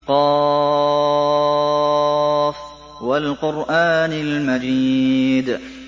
ق ۚ وَالْقُرْآنِ الْمَجِيدِ